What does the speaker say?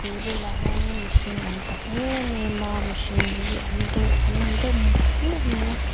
bul velah hianin mihring an tam em em a mihring hi an deuh an awm deuh mup mup mai a.